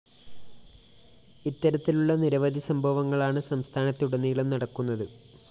ഇത്തരത്തിലുള്ള നിരവധി സംഭവങ്ങളാണ് സംസ്ഥാനത്തുടനീളം നടക്കുന്നത്